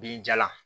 B'i jala